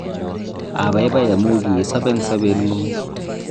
abaibai amu kiisob eng' sobengung